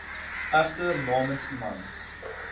egter namens iemand